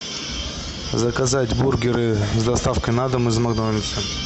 заказать бургеры с доставкой на дом из макдональдса